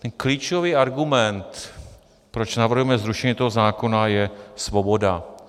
Ten klíčový argument, proč navrhujeme zrušení tohoto zákona, je svoboda.